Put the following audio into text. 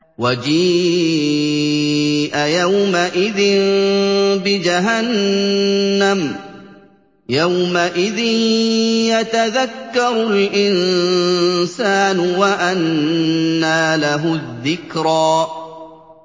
وَجِيءَ يَوْمَئِذٍ بِجَهَنَّمَ ۚ يَوْمَئِذٍ يَتَذَكَّرُ الْإِنسَانُ وَأَنَّىٰ لَهُ الذِّكْرَىٰ